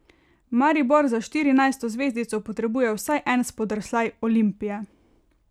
Maribor za štirinajsto zvezdico potrebuje vsaj en spodrsljaj Olimpije.